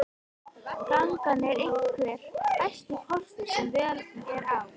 Gangan er einhver besti kostur sem völ er á.